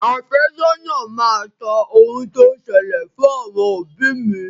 Àfẹ́sọ́nà máa sọ ohun tó ṣẹlẹ̀ fún àwọn òbí mi.